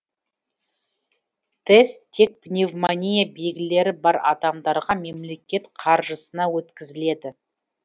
тест тек пневмония белгілері бар адамдарға мемлекет қаржысына өткізіледі